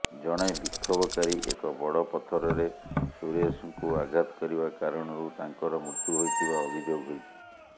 ଜଣେ ବିକ୍ଷୋଭକାରୀ ଏକ ବଡ ପଥରରେ ସୁରେଶଙ୍କୁ ଆଘାତ କରିବା କାରଣରୁ ତାଙ୍କର ମୃତ୍ୟୁ ହୋଇଥିବା ଅଭିଯୋଗ ହୋଇଛି